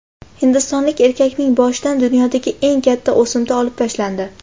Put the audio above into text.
Hindistonlik erkakning boshidan dunyodagi eng katta o‘simta olib tashlandi.